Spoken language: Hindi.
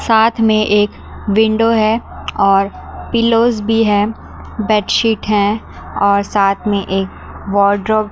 साथ मे एक विंडो है और पिलो भी है बेड शीट है और साथ मे एक वॉर्डरोब --